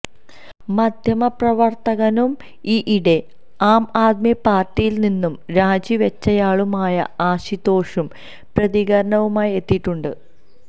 മാധ്യമപ്രവർത്തകനും ഈയിടെ ആം ആദ്മി പാർട്ടിയിൽ നിന്നും രാജി വെച്ചയാളുമായ അശുതോഷും പ്രതികരണവുമായി എത്തിയിട്ടുണ്ട്